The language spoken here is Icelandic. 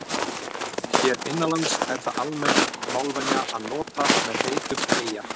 hér innanlands er það almenn málvenja að nota í með heitum eyja